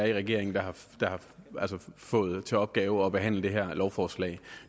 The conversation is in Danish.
i regeringen der har fået til opgave at behandle det her lovforslag